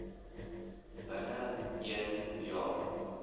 binne een jaar